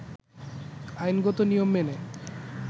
আইনগত নিয়ম মেনে